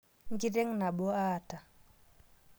Nkiteng' nabo aata